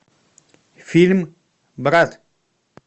фильм брат